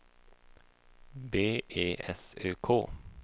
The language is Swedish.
B E S Ö K